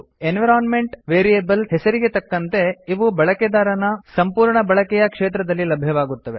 environment variables ಹೆಸರಿಗೆ ತಕ್ಕಂತೆ ಇವು ಬಳಕೆದಾರನ ಸಂಪೂರ್ಣ ಬಳಕೆಯ ಕ್ಷೇತ್ರದಲ್ಲಿ ಲಭ್ಯವಾಗುತ್ತವೆ